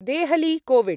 Delhi COVID